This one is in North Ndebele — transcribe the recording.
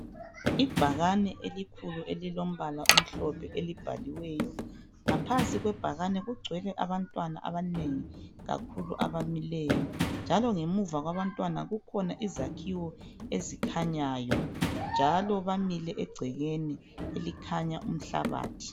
Ibhakane elikhulu elilombala omhlophe elibhaliweyo. Ngaphansi kwebhakane kugcwele abantwana abanengi kakhulu abamileyo njalo ngemuva kwabantwana kukhona izakhiwo ezikhanyayo njalo bamile egcekeni elikhanya umhlabathi.